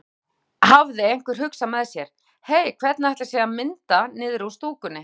Þá hafði einhver hugsað með sér: Hey hvernig ætli sé að mynda niðri úr stúkunni?